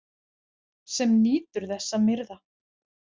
Sem nýtur þess að myrða.